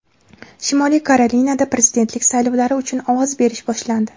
Shimoliy Karolinada prezidentlik saylovlari uchun ovoz berish boshlandi.